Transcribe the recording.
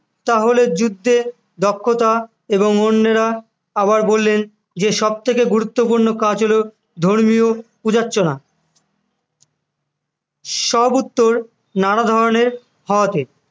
তাহলে যুদ্ধে দক্ষতা এবং অন্যেরা আবার বললেন যে সব থেকে গুরুত্বপূর্ণ কাজ হল ধর্মীয় পূজার্চনা সব উত্তর নানা ধরনের হওয়াতে